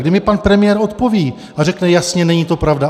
Kdy mi pan premiér odpoví a řekne jasně: Není to pravda?